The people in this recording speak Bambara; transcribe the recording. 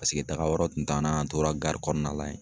Paseke taaga yɔrɔ tun t'an na, an tora gari kɔnɔna la yen.